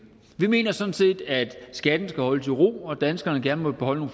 vi mener sådan set at skatten skal holdes i ro og at danskerne gerne må beholde